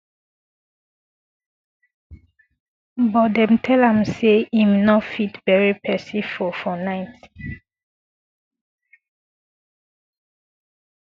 but dem tell am say im no fit bury pesin for for night